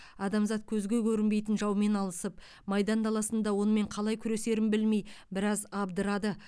адамзат көзге көрінбейтін жаумен алысып майдан даласында онымен қалай күресерін білмей біраз абдырады